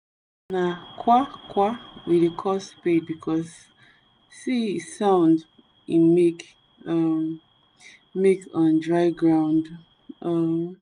na kwakwa we dey call spade because se e sound e make um make um on dry ground um